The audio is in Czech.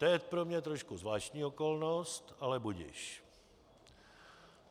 To je pro mě trošku zvláštní okolnost, ale budiž.